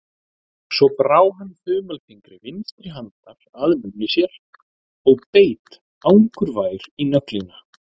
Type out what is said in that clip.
Svo brá hann þumalfingri vinstri handar að munni sér og beit angurvær í nöglina.